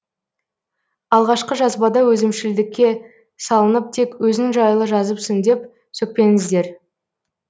алғашқы жазбада өзімшілдікке салынып тек өзің жайлы жазыпсың деп сөкпеңіздер